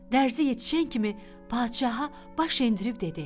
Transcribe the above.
Dərzi yetişən kimi padşaha baş endirib dedi: